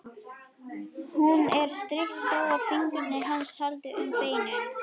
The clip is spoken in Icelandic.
Hún er styrk þótt fingur hans haldi um beinin.